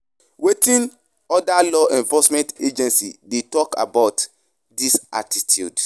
Wetin oda law enforcement agencies dey talk about dis attitude?